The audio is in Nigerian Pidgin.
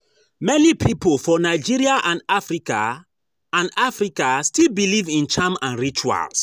Many pipo for Nigeria and Africa and Africa still believe in charm and rituals